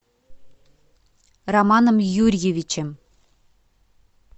романом юрьевичем